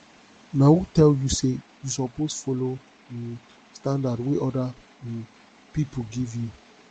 na who tell you sey you suppose folo um standard wey oda um pipo give you